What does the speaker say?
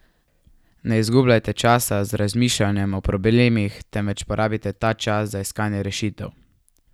Ne izgubljajte časa z razmišljanjem o problemih, temveč porabite ta čas za iskanje rešitev!